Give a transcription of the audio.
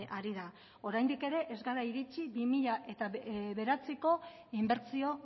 ari da oraindik ere ez gara iritsi bi mila bederatziko inbertsio